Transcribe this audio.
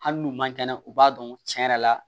Hali n'u man kɛnɛ u b'a dɔn cɛn yɛrɛ la